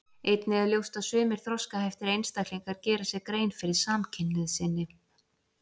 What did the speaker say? Einnig er ljóst að sumir þroskaheftir einstaklingar gera sér grein fyrir samkynhneigð sinni.